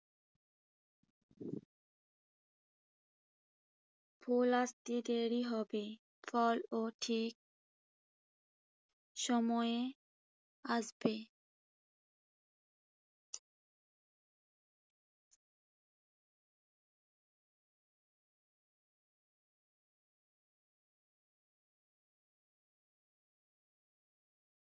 ফুল আসতে দেরি হবে। ফল ও ঠিক সময়ে আসবে।